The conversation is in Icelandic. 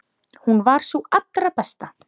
Hún var sú allra besta.